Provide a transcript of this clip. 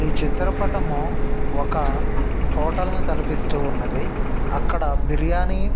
ఈ చిత్ర పటము ఒక హోటల్ ని తలపిస్తూ ఉన్నదీ.అక్కడ బిర్యాని--